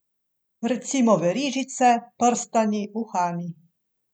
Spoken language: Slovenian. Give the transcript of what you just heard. Recimo verižice, prstani, uhani.